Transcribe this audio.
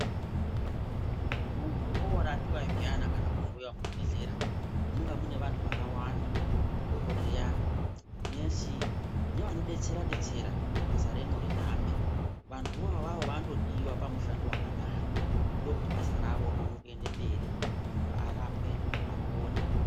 Munhu orapiwa zviyana kana kuhloiwa muchibhedhlera munonga mune vantu vakawanda dhokodheya, nesi nevanodetsera detsera kuti basa remwo rihambe , vantuvo avavo vanotodiwa pamushando wakadaro ndokuti basa ravo rione kuende mberi muntu arapwe apone.